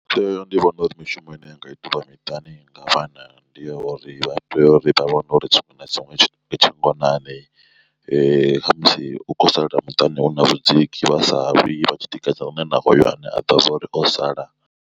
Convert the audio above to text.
Nṋe ndi vhona uri mishumo ine yanga itiwa miṱani nga vhana ndi ya uri vha tea uri vha vhone uri tshiṅwe na tshiṅwe tshi ngonani khamusi hu khou sala muṱani hu na vhudziki vha sa lwi vha tshi tikedza lune na hoyo ane a ḓivha zwa uri o sala.